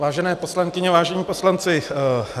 Vážené poslankyně, vážení poslanci.